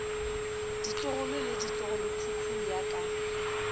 ditlogolo le ditlogolokhukhu ya ka